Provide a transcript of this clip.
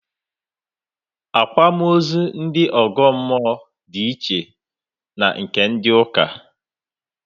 Àkwámaózú ndị ọ̀gọ́mmụọ di iche na nke ndị ụ́kà